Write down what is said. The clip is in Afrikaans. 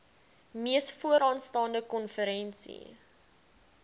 mees vooraanstaande konferensie